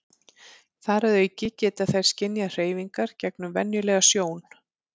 þar að auki geta þær skynjað hreyfingar gegnum venjulega sjón